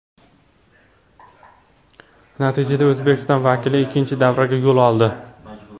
Natijada O‘zbekiston vakili ikkinchi davraga yo‘l oldi.